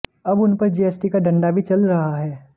अब उनपर जीएसटी का डंडा भी चल रहा है